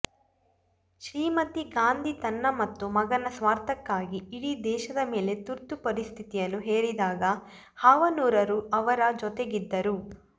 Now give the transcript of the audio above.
ಶ್ರೀಮತಿ ಗಾಂಧಿ ತನ್ನ ಮತ್ತು ಮಗನ ಸ್ವಾರ್ಥಕ್ಕಾಗಿ ಇಡೀ ದೇಶದ ಮೇಲೆ ತುರ್ತು ಪರಿಸ್ಥಿತಿಯನ್ನು ಹೇರಿದಾಗ ಹಾವನೂರರು ಅವರ ಜೊತೆಗಿದ್ದರು